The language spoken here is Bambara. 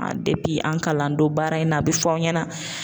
an kalan don baara in na a bi fɔ anw ɲɛna.